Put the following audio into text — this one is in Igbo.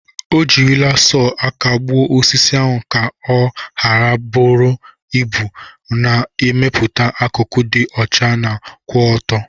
O jirila sọọ aka gbuo osisi ahụ ka ọ ha buru ibu, na-emepụta akụkụ dị ọcha ma kwụ ọtọ.